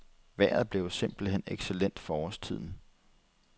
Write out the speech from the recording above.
Vejret blev jo simpelt hen excellent for årstiden.